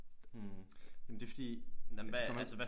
Mh jamen det er fordi nej men det kommer